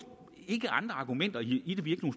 ikke andre argumenter i det vi